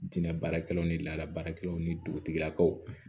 Dinɛ baarakɛlaw ni laada baarakɛlaw ni dugutigilakaw